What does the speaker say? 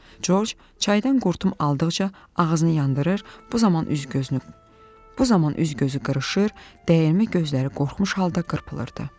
Corc çaydan qurtum aldıqca ağzını yandırır, bu zaman üz-gözü qırışır, dəyirmi gözləri qorxmuş halda qırpılırdı.